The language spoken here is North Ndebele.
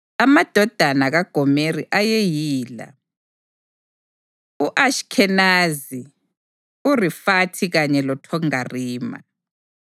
Amadodana kaGomeri ayeyila: u-Ashikhenazi, uRifathi kanye loThogarima.